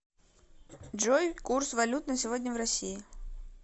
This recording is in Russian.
джой курс валют на сегодня в россии